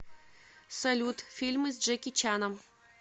салют фильмы с джеки чаном